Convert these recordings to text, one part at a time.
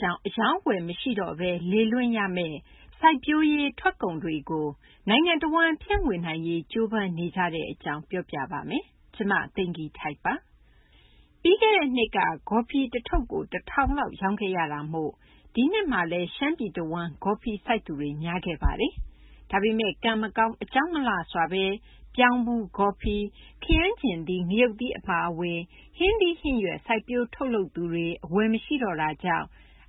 ကြောင့် အရောင်းအဝယ် မရှိတော့ဘဲ လေလွင့်ရမယ့် စိုက်ပျိုးရေး ထွက်ကုန်တွေကို နိုင်ငံတဝန်း ဖြန့်ဝေနိုင်ရေး ကြိုးပမ်းနေကြတဲ့ အကြောင်း မ သိင်္ဂ ီထိုက် ပြောပြပေးပါမယ်။ ပြီးခဲ့တဲ့နှစ်က ဂေါ်ဖီထုပ် တထုပ်ကို ၁၀၀၀ ကျပ်လောက် ရောင်းခဲ့ရတာမို့ ဒီနှစ်မှာလည်း ရှမ်းပြည်တဝန်းမှာ ဂေါ်ဖီ စိုက်သူတွေ များခဲ့ပါတယ်။ ဒါပေမယ့် ကံမကောင်း အကြောင်းမလှစွာဘဲ ပြောင်းဖူး၊ ဂေါ်ဖီ၊ ခရမ်းချဉ်သီး၊ ငရုတ်သီး အပါအဝင် ဟင်းသီး ဟင်းရွက် စိုက်ပျိုးထုတ်လုပ်သူတွေ အဝယ်မရှိတော့တာကြောင့်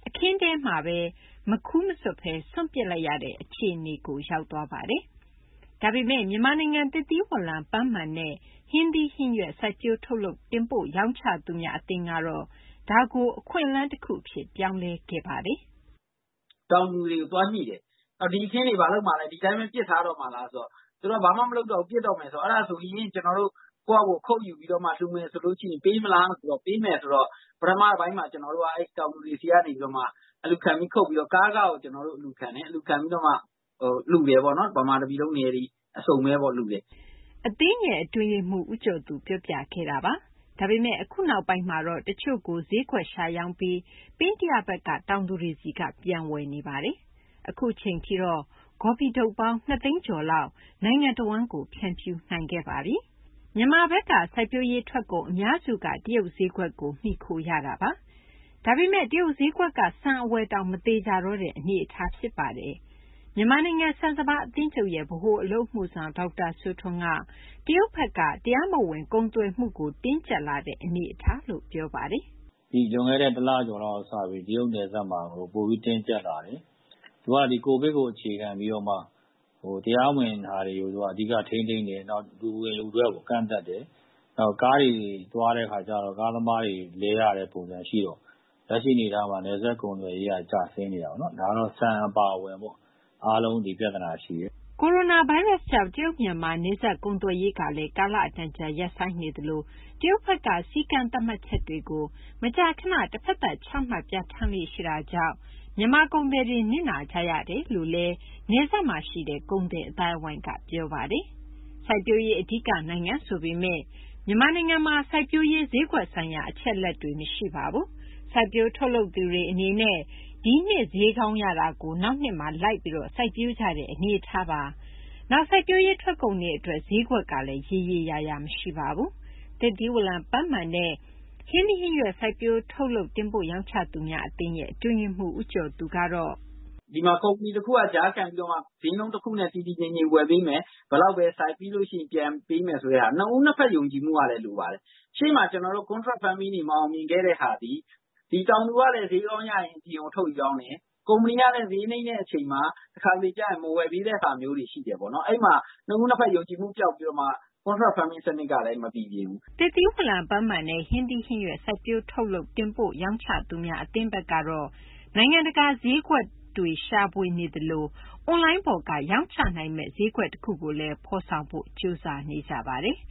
အခင်းထဲမှာဘဲ မခူးမဆွတ်တော့ဘဲ စွန့်ပစ်လိုက်ရတဲ့ အခြေအနေကို ရောက်သွားပါတယ်။ ဒါပေမယ့် မြန်မာနိုင်ငံ သစ်သီးဝလံ၊ ပန်းမာန်နဲ့ ဟင်းသီးဟင်းရွက် စိုက်ပျိုးထုတ်လုပ် တင်ပို့ရောင်းချသူများ အသင်းကတော့ ဒါကို အခွင့်အလမ်း တခုအဖြစ် ပြောင်းလဲခဲ့ပါတယ်။ “ တောင်သူတွေကို သွားညှိတယ်။ ဒီအခင်းတွေ ဒီတိုင်းဘဲ ပစ်ထားတော့မှာလား ဆိုတော့ သူတို့က ဘာမှ မလုပ်တော့ဘူး ပစ်တော့မယ်ဆိုတော့ အဲဒါဆိုရင် ကျနော်တို့ ကိုယ့်ဟာကိုယ် ခုတ်ယူပြီးတော့မှ လှူမယ်ဆိုရင် ပေးမလားဆိုတော့ ပေးမယ်ဆိုတော့ တောင်သူတွေဆီက အလှူခံ ခုတ်ပြီးတော့ ကားခကို အလှူခံတယ်။ အလှူခံပြီးတော့မှ ဗမာ တပြည်လုံး နယ်တွေ အစုံဘဲပေါ့ လှူတယ်။ ” အသင်းရဲ့ အတွင်းရေးမှူး ဦးကျော်သူ ပြောပြခဲ့တာပါ။ ဒါပေမယ့် အခု နောက်ပိုင်းမှာတော့ တချို့ကို ဈေးကွက်ရှာရောင်းပြီး ပင်းတယဘက်က တောင်သူတွေဆီက ပြန်ဝယ်နေပါတယ်။ အခုအချိန်ထိတော့ ဂေါ်ဖီထုပ်ပေါင်း ၂ သိန်းကျော်လောက် နိုင်ငံတဝန်းကို ဖြန့်ဖြူးနိုင်ခဲ့ပါပြီ။ မြန်မာဘက်က စိုက်ပျိုးရေး ထွက်ကုန် အများစုက တရုတ် ဈေးကွက်ကို မှီခိုရတာ ဖြစ်ပါတယ်။ ဒါပေမယ့် တရုတ် ဈေးကွက်က ဆန် အဝယ်တောင် မသေချာတော့တဲ့ အနေအထားပါ။ မြန်မာနိုင်ငံ ဆန်စပါး အသင်းချုပ်ရဲ့ ဗဟိုအလုပ်အမှုဆောင် ဒေါက်တာ စိုးထွန်းက တရုတ်ဘက်က တရားမဝင် ကုန်သွယ်မှုကို တင်းကြပ်လာတဲ့ အနေအထားလို့ ပြောပါတယ်။ “ လွန်ခဲ့တဲ့ တလကျော်လောက် ကတည်းက တရုတ် နယ်စပ်မှာ ပိုပြီး တင်းကျပ်လာတယ်။ သူက COVID ကို အခြေခံပြီးတော့မှ တရားမဝင် တွေကို ထိန်းသိမ်းတယ်။ နောက် လူဝင် လူထွက်ကို ကန့်သတ်တယ်။ နောက် ကားတွေ သွားတာမှာလည်း ကားသမားတွေ လဲရတဲ့ ပုံစံ ရှိတော့ လက်ရှိ အနေအထားမှာ နယ်စပ် ကုန်သွယ်ရေးက ကျဆင်းနေတာပေါ့နော်။ ဒါတော့ ဆန် အပါအဝင် အားလုံး ဒီပြဿနာ ရှိတယ်။ ” ကိုရိုနာဗိုင်းရပ်ကြောင့် တရုတ်-မြန်မာ နယ်စပ်ကုန်သွယ်ရေးတွေလည်း ကာအတန်ကြာ ရပ်ဆိုင်းနေသလို၊ တရုတ်ဘက်က စည်းကမ်း သတ်မှတ်ချက်တွေကို မကြာခဏ တဘက်သတ် ချမှတ် ပြဌာန်းလေ့ရှိတာကြောင့် မြန်မာကုန်သည်တွေ နစ်နာကြရကြောင်း နယ်စပ်မှာရှိတဲ့ ကုန်သည်အသိုင်းဝိုင်းက ပြောပါတယ်။ စိုက်ပျိုးရေး အဓိက နိုင်ငံ ဆိုပေမယ့် မြန်မာနိုင်ငံမှာ စိုက်ပျိုးရေး ဈေးကွက်ဆိုင်ရာ အချက်အလက်တွေ မရှိပါဘူး။ စိုက်ပျိုးထုတ်လုပ်သူတွေ အနေနဲ့ ဒီနှစ် ဈေးကောင်းရတာကို နောက်နှစ်မှာ လိုက်ပြီး စိုက်ပျိုးကြတဲ့ အနေအထားပါ။ နောက် စိုက်ပျိုးရေး ထွက်ကုန်တွေ အတွက် ဈေးကွက်ကလည်း ရေရေ ရာရာမရှိပါဘူး။ သစ်သီးဝလံ၊ ပန်းမာန်နဲ့ ဟင်းသီးဟင်းရွက် စိုက်ပျိုးထုတ်လုပ် တင်ပို့ရောင်းချသူများ အသင်း အတွင်းရေးမှူး ဦးကျော်သူကတော့ “ ဒီမှာ ကုမ္ပဏီ တခုက ကြားခံပြီးတော့ ဈေးနှုန်း တခုနဲ့ တည်တည်ငြိမ်ငြိမ် ဝယ်ပေးမယ်။ ဘယ်လောက်ဘဲ စိုက်။ နှစ်ဦး နှစ်ဘက် ယုံကြည်မှုကလည်း လိုပါတယ်။ ရှေ့မှာ ကျနော်တို့ Contract Farming တွေ မအောင်မြင်ခဲ့တဲ့ဟာသည် ဒီ တောင်သူကလည်း ဈေးကောင်းရရင် အပြင်ကို ထုတ်ရောင်းတယ်။ ကုမ္ပဏီကလည်း ဈေးနိမ့်တဲ့ အခါကျရင် တခါတလေကျ မဝယ်ပေးတဲ့ဟာတွေ ရှိတယ်ပေါ့နော်။ အဲဒီမှာ နှစ်ဦး နှစ်ဘက် ယုံကြည်မှု ပျောက်ပြီးတော့ Contract Farming စနစ်ကလည်း မပီပြင်ဘူး။” သစ်သီးဝလံ၊ ပန်းမာန်နဲ့ ဟင်းသီးဟင်းရွက် စိုက်ပျိုးထုတ်လုပ် တင်ပို့ရောင်းချသူများ အသင်းဘက်ကတော့ နိုင်ငံတကာ ဈေးကွက်ရှာဖွေနေသလို အွန်လိုင်းပေါ်ကနေ ရောင်းချနိုင်မယ့် ဈေးကွက်တခု ဖော်ဆောင်ဖို့လည်း ကြိုးစားနေကြပါတယ်။